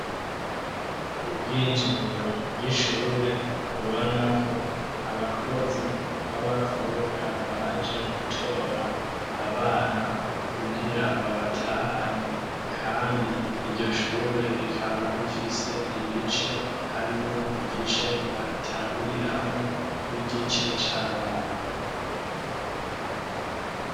Ubwinjiriro bw'ishure ubonako abakozi b'abakobwa baje gutora abana kugira babatahane Kandi iryo Shure rikaba rifise ibice harimwo igice bagitanguriramwo n'igice c'abana.